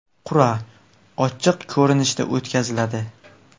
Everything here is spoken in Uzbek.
Qur’a ochiq ko‘rinishda o‘tkaziladi.